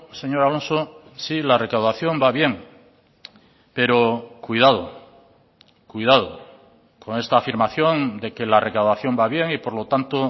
señor alonso sí la recaudación va bien pero cuidado cuidado con esta afirmación de que la recaudación va bien y por lo tanto